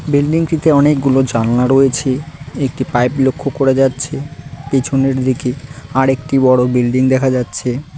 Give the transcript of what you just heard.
Building -টিতে অনেকগুলো জানলা রয়েছে একটি পাইপ লক্ষ্য করা যাচ্ছে পেছনের দিকে আরেকটি বড়ো বিল্ডিং দেখা যাচ্ছে।